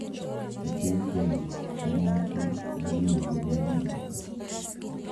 E piny Kenya, en nyasi ma iluwo gi dhoudi duto.